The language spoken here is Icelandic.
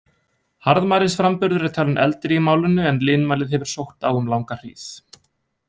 Harðmælisframburðurinn er talinn eldri í málinu, en linmælið hefur sótt á um langa hríð.